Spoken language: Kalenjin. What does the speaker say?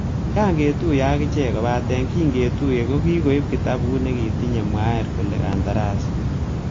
"Kiayan ketuyen ak ichek,"kobaten kin ketuye kokikoib kitabut nekitinye mwaet kole kandarasi.